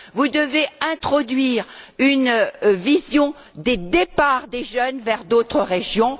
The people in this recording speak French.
Vous devez introduire une vision des départs des jeunes vers d'autres régions.